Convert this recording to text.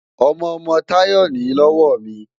Ọmọ-ọmọ Táyọ̀ nìí lọ́wọ́ mi